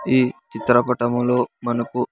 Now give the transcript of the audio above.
ఈ చిత్రపటములో మనకు.